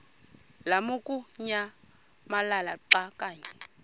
lamukunyamalala xa kanye